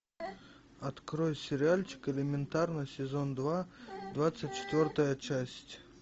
открой сериальчик элементарно сезон два двадцать четвертая часть